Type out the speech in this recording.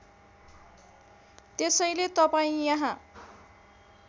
त्यसैले तपाईँ यहाँ